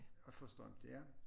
Og får strøm til ja